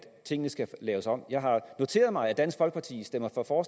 tingene skal laves om jeg har noteret mig at dansk folkeparti stemmer for for